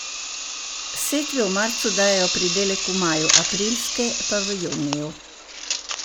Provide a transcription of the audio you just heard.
Setve v marcu dajo pridelek v maju, aprilske pa v juniju.